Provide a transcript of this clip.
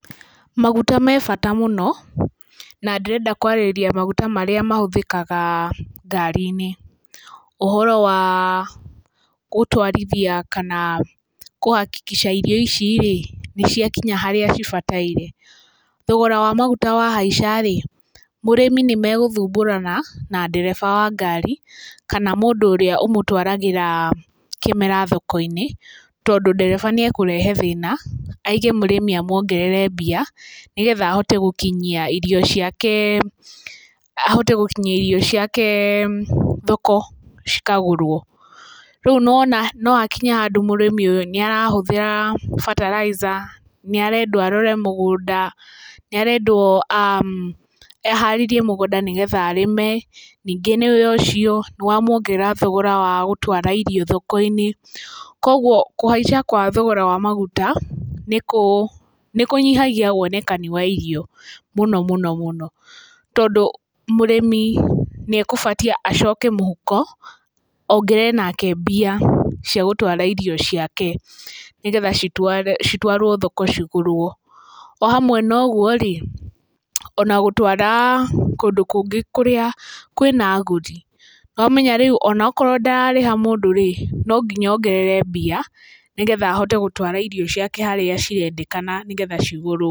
Maguta me bata mũno na ndĩrenda kwarĩrĩria maguta marĩa mahũthĩkaga ngari-inĩ. Ũhoro wa gũtwarithia kana kũhakikica irio ici-rĩ, nĩ ciakinya harĩa cibataire. Thogora wa maguta wa haica-rĩ, mũrĩmi nĩ megũthumbũrana na ndereba wa ngarĩ kana mũndũ ũrĩa ũmũtwaragĩra kĩmera thoko-inĩ, tondũ ndereba nĩ ekũrehe thĩna aige mũrĩmi amuongerere mbia nĩ getha ahote gũkinyia irio ciake, ahote gũkinyia irio ciake thoko cikagũrwo. Rĩu nĩ wona no hakinye handũ mũrĩmi ũyũ, nĩ arahũthĩra bataraitha, nĩ arendwo arore mũgũnda, nĩ arendwo aharĩrie mũgũnda nĩgetha arĩme, ningĩ nĩwe ũcio nĩ wamwongerera thogora wa gũtwara irio thoko-inĩ. Kũoguo kũhaica gwa thogora wa maguta nĩ nĩ kũnyihagia wonekani wa irio mũno mũno mũno, tondũ mũrĩmi nĩegũbatiĩ acoke mũhuko ongerere onake mbia cia gũtwara irio ciake nĩ getha citwarwo thoko cigũrwo. O hamwe na ũguo-rĩ, o na gũtwara kũndũ kũngĩ kũrĩa kwĩna agũri. Nĩwamenya rĩu onakorwo ndararĩha mũndũ-rĩ, no nginya ongerere mbia nĩ getha ahote gũtwara irio ciake harĩa cirendekana nĩ getha cigũrwo.